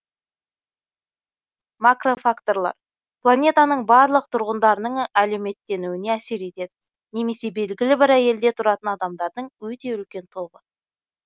макрофакторлар планетаның барлық тұрғындарының әлеуметтенуіне әсер етеді немесе белгілі бір елде тұратын адамдардың өте үлкен тобы